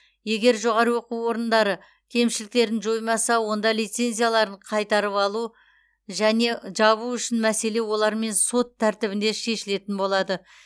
егер жоғары оқу орындары кемшіліктерін жоймаса онда лицензияларын қайтарып алу және жабу үшін мәселе олармен сот тәртібінде шешілетін болады